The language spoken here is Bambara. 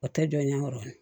O tɛ jɔ ɲɛkɔrɔni